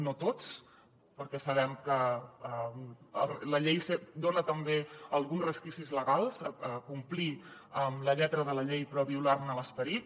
no tots perquè sabem que la llei dona també alguns resquicis legals a complir amb la lletra de la llei però a violar ne l’esperit